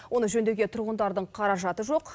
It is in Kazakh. оны жөндеуге тұрғындардың қаражаты жоқ